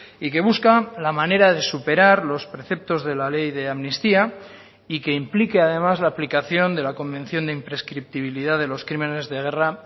y que busca la manera de superar los preceptos de la ley de amnistía y que implique además la aplicación de la convención de imprescriptibilidad de los crímenes de guerra